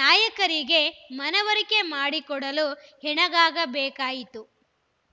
ನಾಯಕರಿಗೆ ಮನವರಿಕೆ ಮಾಡಿಕೊಡಲು ಹೆಣಗಬೇಕಾಯಿತು